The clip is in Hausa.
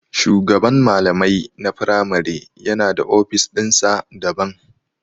shugaban malamai na firamare yana da ofis ɗinsa daban.